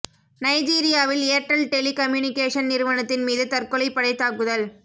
நைஜீரியாவில் Airtel telecommunication நிறுவனத்தின் மீது தற்கொலைப் படை தாக்குதல்